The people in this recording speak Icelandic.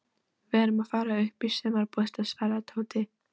Við erum að fara upp í sumarbústað svaraði Tóti.